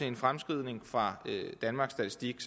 en fremskrivning fra danmarks statistik